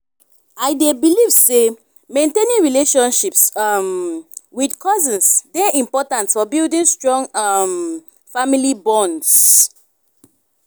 i dey believe say maintaining relationships um with cousins dey important for building strong um family bonds.